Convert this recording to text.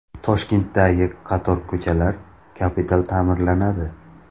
Toshkentdagi qator ko‘chalar kapital ta’mirlanadi .